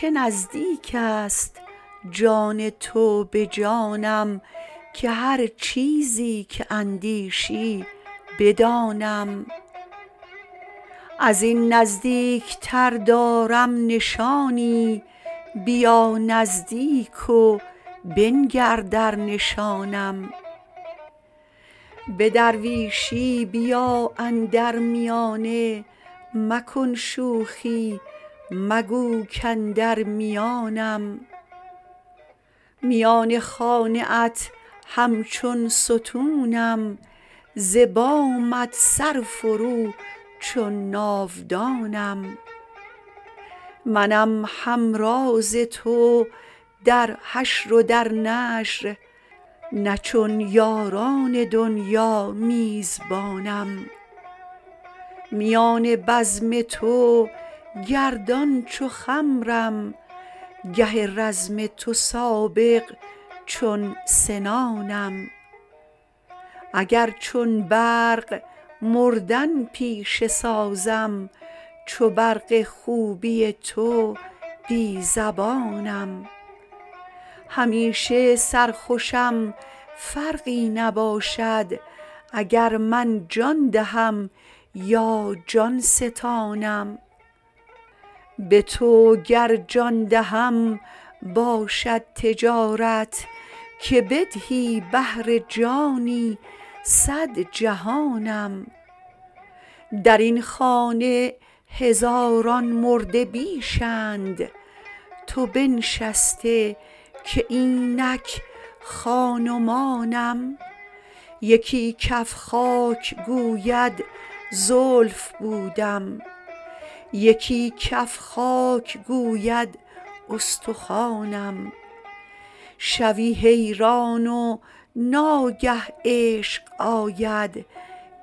چه نزدیک است جان تو به جانم که هر چیزی که اندیشی بدانم از این نزدیکتر دارم نشانی بیا نزدیک و بنگر در نشانم به درویشی بیا اندر میانه مکن شوخی مگو کاندر میانم میان خانه ات همچون ستونم ز بامت سرفرو چون ناودانم منم همراز تو در حشر و در نشر نه چون یاران دنیا میزبانم میان بزم تو گردان چو خمرم گه رزم تو سابق چون سنانم اگر چون برق مردن پیشه سازم چو برق خوبی تو بی زبانم همیشه سرخوشم فرقی نباشد اگر من جان دهم یا جان ستانم به تو گر جان دهم باشد تجارت که بدهی بهر جانی صد جهانم در این خانه هزاران مرده بیش اند تو بنشسته که اینک خان و مانم یکی کف خاک گوید زلف بودم یکی کف خاک گوید استخوانم شوی حیران و ناگه عشق آید